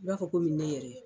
I b'a fɔ ne yɛrɛ.